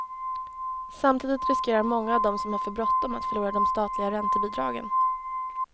Samtidigt riskerar många av dem som har för bråttom att förlora de statliga räntebidragen.